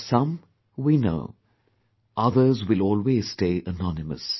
Of some we know; others will always stay anonymous